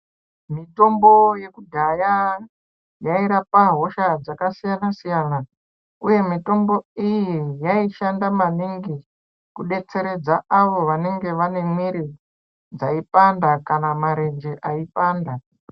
Mitombo yekudhaya ,yayirapa hosha dzakasiyana siyana, uye mitombo iyi yayishandamaningi kudetseredza avo vanenge vane miiri dzayipanda kana marenje ayipanda.